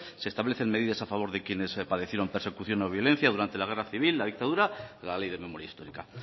se establecen medidas a favor de quienes padecieron persecución o violencia durante la guerra civil la dictadura la ley de memoria histórica